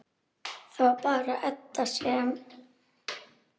Það var bara Edda sem.